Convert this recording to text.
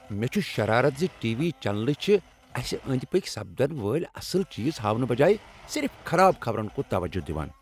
مےٚ چھ شرارت ز ٹی وی چینلہٕ چھ اسہ أنٛدۍ پٔکۍ سپدن والۍ اصل چیز ہاونہٕ بجایہ صرف خراب خبرن کُن توجہ دوان۔